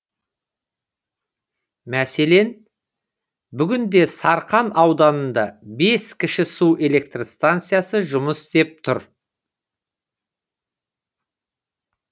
мәселен бүгінде сарқан ауданында бес кіші су электр станциясы жұмыс істеп тұр